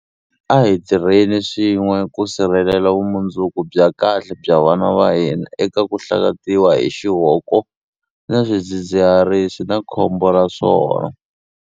A hi tirheni swin'we ku sirhelela vumundzuku bya kahle bya vana va hina eka ku hlakatiwa hi xihoko na swidzidziharisi na khombo ra swona.